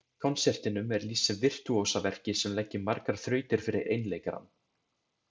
Konsertinum er lýst sem virtúósaverki sem leggi margar þrautir fyrir einleikarann.